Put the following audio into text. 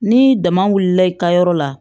Ni dama wulila i ka yɔrɔ la